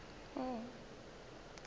ao a bego a šetše